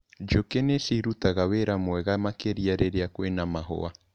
Njũkĩ nĩciũrutaga wĩra mwega makĩria rĩria kwĩna mahũa.